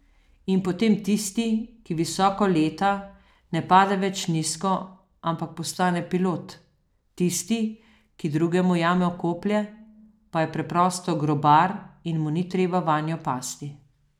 In potem tisti, ki visoko leta, ne pade več nizko, ampak postane pilot, tisti, ki drugemu jamo koplje, pa je preprosto grobar in mu ni treba vanjo pasti.